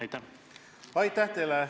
Aitäh teile!